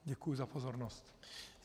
Děkuji za pozornost.